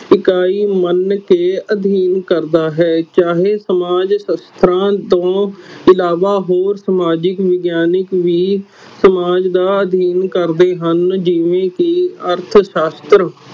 ਇਕਾਈ ਮੰਨਕੇ ਅਧੀਨ ਕਰਦਾ ਹੈ ਚਾਹੇ ਸਮਾਜ ਸਸਥਰਾ ਤੋਂ ਇਲਾਵਾ ਹੋਰ ਸਮਾਜ ਵਿਗਿਆਨਿਕ ਵੀ ਅਧੀਨ ਕਰਦੇ ਹਨ ਜਿਵੇ ਅਰਥ ਸਾਸਤ੍ਰ